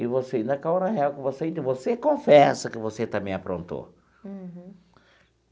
E você, naquela hora real com você entre você, confessa que você também aprontou. Uhum.